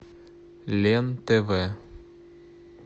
лен тв